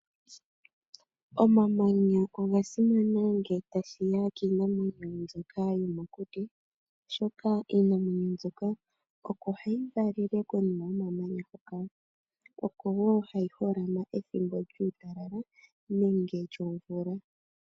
Omamanya oga simana ngele tashiya kiinamwenyo mbyoka yomokuti oshoka iinamwenyo mbyoka oko hayi valele konima yomamanya hoka. Oko woo hayi holama pethimbo lyuutalala nenge lyomvula.